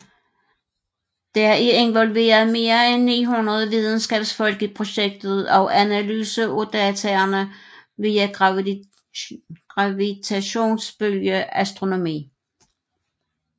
Der er involveret mere end 900 videnskabsfolk i projektet og analyse af dataene via gravitationsbølge astronomi